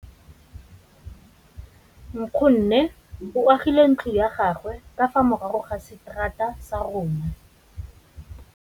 Nkgonne o agile ntlo ya gagwe ka fa morago ga seterata sa rona.